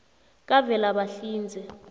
kavelabahlinze